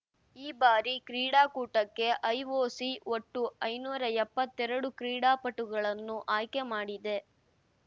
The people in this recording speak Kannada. ಈ ಬಾರಿ ಕ್ರೀಡಾಕೂಟಕ್ಕೆ ಐಒಸಿ ಒಟ್ಟು ಐನೂರಾ ಎಪ್ಪತ್ತೆರಡು ಕ್ರೀಡಾಪಟುಗಳನ್ನು ಆಯ್ಕೆ ಮಾಡಿದೆ